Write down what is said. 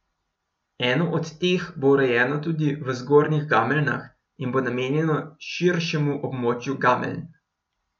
Eno od teh bo urejeno tudi v Zgornjih Gameljnah in bo namenjeno širšemu območju Gameljn.